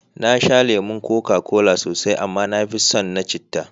Na sha lemon koka kola sosai, amma na fi son na citta.